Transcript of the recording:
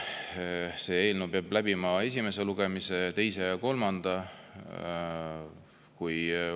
See eelnõu peab läbima esimese, teise ja kolmanda lugemise.